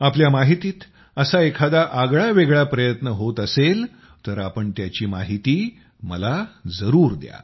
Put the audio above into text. आपल्या माहितीत असा एखादा आगळावेगळा प्रयत्न होत असेल तर आपण त्याची माहिती मला त्याची जरूर द्या